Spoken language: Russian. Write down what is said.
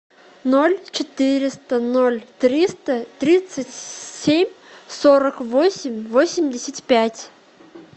ноль четыреста ноль триста тридцать семь сорок восемь восемьдесят пять